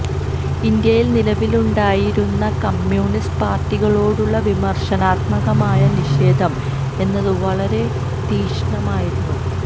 ഇന്ത്യയിൽ നിലവിലുണ്ടായി രുന്ന കമ്യൂണിസ്റ്റ് പാർട്ടികളോടുളള വിമർശനാത്മകമായ നിഷേധം എന്നത് വളരെ തീഷ്ണമായിരുന്നു